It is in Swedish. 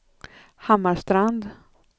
Hammarstrand